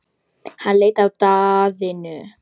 Hann leit á Daðínu.